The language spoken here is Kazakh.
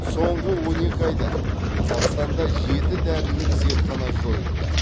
соңғы он екі айда қазақстанда жеті дәрілік зертхана жойылды